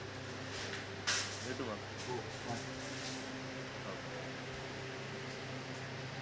भेटू मग हो बाय हो बाय